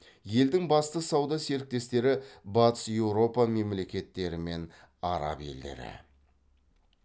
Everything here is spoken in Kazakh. елдің басты сауда серіктестері батыс еуропа мемлекеттері мен араб елдері